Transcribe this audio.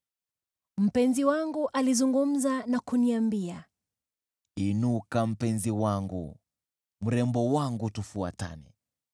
Mpenzi wangu alizungumza na kuniambia, “Inuka, mpenzi wangu, mrembo wangu, tufuatane.